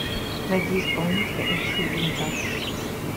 найди исполнителя эмси винтаж